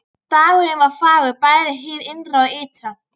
Dagurinn var fagur bæði hið innra og ytra.